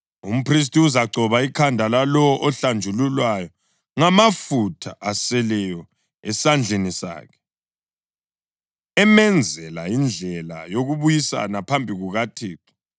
Umphristi uzagcoba ikhanda lalowo ohlanjululwayo ngamafutha aseleyo esandleni sakhe, emenzela indlela yokubuyisana phambi kukaThixo.